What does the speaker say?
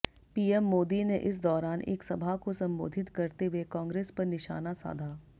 PM Modi ने इस दौरान एक सभा को संबोधित करते हुए कांग्रेस पर निशाना साधा